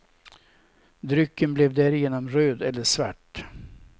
Drycken blev därigenom röd eller svart.